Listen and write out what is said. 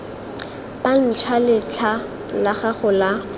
bantšhwa letlha la gago la